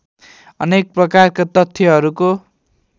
अनेक प्रकारका तथ्यहरूको